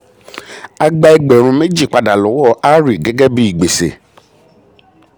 a gba ẹgbẹ̀rún méjì pada lọ́wọ́ hari gẹ́gẹ́ bí gbèsè.